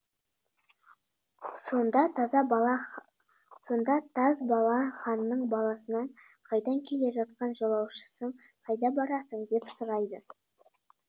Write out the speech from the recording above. сонда таз бала ханның баласынан қайдан келе жатқан жолаушысың қайда барасың деп сұрайды